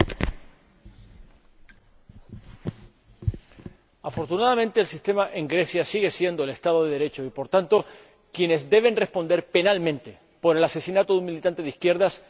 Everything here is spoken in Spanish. Señora Presidenta, afortunadamente el sistema en Grecia sigue siendo el Estado de Derecho y, por tanto, quienes tienen que responder penalmente por el asesinato de un militante de izquierdas deben hacerlo.